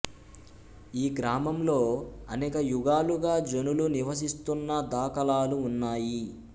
ఈ గ్రామంలో అనేక యుగాలుగా జనులు నివసిస్తున్న దాఖలాలు ఉన్నాయి